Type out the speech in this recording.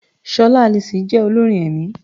Ṣọlá Alison jẹ́ olórin ẹ̀mí.